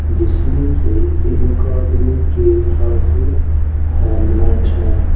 जिसमें से एक आदमी के हाथ में हेलमेट है।